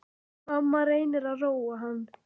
Mamma reynir að róa hann.